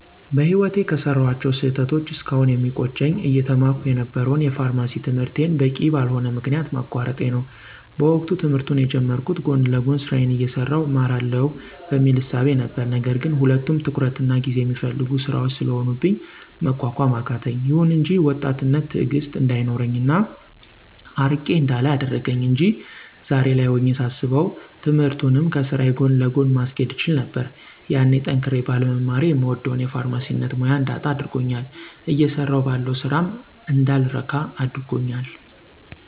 በህይወቴ ከሰራኋቸው ስህተቶች እስካሁን የሚቆጨኝ አየተማርኩ የነበረውን የፋርማሲ ትምህርቴን በቂ በልሆነ ምክንያት ማቋረጤ ነው። በወቅቱ ትምህርቱን የጀመርኩት ጎን ለጎን ስራዬን አየሠራሁ እማረዋለሁ በሚል እሳቤ ነበር ነገር ግን ሁለቱም ትኩረትና ጊዜ የሚፈልጉ ስራዎች ስለሆኑብኝ መቋቋም አቃተኝ። ይሁን እንጂ ወጣትነት ትእግስት እንዳይኖረኝ እና አርቄ እንዳላይ አደረገኝ አንጂ ዛሬ ላይ ሆኜ ሳስበው ትምህርቱንም ከስራዬ ጎን ለጎን ማስኬድ እችል ነበር። ያኔ ጠንክሬ ባለመማሬ የምወደውን የፋርማሲነት ሙያ እንዳጣው አድርጎኛል እየሰራሁ ባለው ስራም እንዳልረካ አድርጎኛል።